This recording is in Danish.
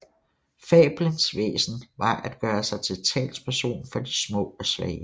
Fabelens væsen var at gøre sig til talsperson for de små og svage